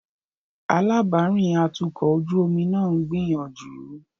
Alábàárìn atukọ̀ ojú omi náà ń gbìyànjú.